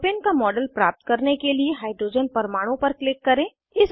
propane का model प्राप्त करने के लिए हाइड्रोजन परमाणु पर क्लिक करें